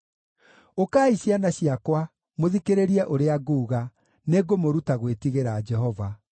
Ũkai ciana ciakwa, mũthikĩrĩrie ũrĩa nguuga; nĩngũmũruta gwĩtigĩra Jehova.